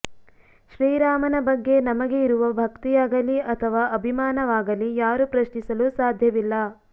ಶ್ರೀರಾಮನ ಬಗ್ಗೆ ನಮಗೆ ಇರುವ ಭಕ್ತಿಯಾಗಲೀ ಅಥವಾ ಅಭಿಮಾನವಾಗಲೀ ಯಾರು ಪ್ರಶ್ನಿಸಲು ಸಾಧ್ಯವಿಲ್ಲ